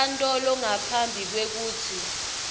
enkantolo ngaphambi kwekutsi